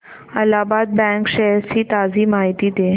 Allahabad bank shares ची ताजी माहिती दे